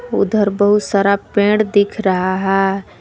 उधर बहुत सारा पेड़ दिख रहा है।